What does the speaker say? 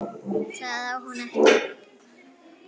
Það á hún ekki.